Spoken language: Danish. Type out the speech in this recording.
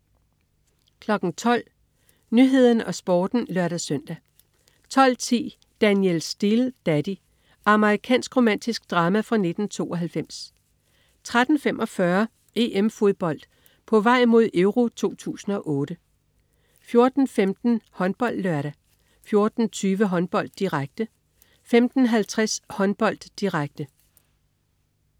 12.00 Nyhederne og Sporten (lør-søn) 12.10 Danielle Steel: Daddy. Amerikansk romantisk drama fra 1992 13.45 EM-Fodbold: På vej mod EURO 2008 14.15 HåndboldLørdag 14.20 Håndbold, direkte 15.50 Håndbold, direkte